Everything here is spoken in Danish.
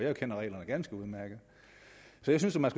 jo kender reglerne ganske udmærket så jeg synes at man